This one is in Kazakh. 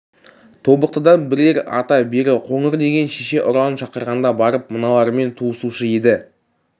тобықтыдан бірер ата бері қоңыр деген шеше ұранын шақырғанда барып мыналармен туысушы еді